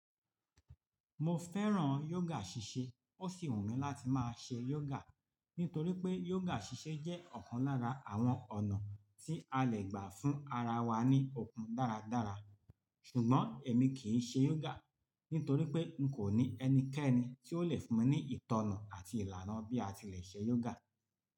Mo fẹ́ràn yoga ṣíṣe, ó sì wù mí láti máa ṣe yoga nítorí pé yoga ṣíṣe jẹ́ ọ̀kan lára àwọn ọ̀nà tí a lè gbà fún ara wa ní okun dáradára, ṣùgbọ́n èmi kì í ṣe yoga nítorí pé n kò ní ẹnikẹ́ni tí ó lè fún mi ní ìtọ̀nà àti ìlànà bí a ti lè ṣe yoga.